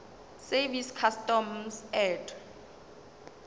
service customs and